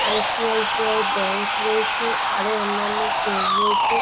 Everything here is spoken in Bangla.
আই.সি.আই.সি. আই. ব্যাংক রয়েছে। আরও অন্যান্য ফোন রয়েছে।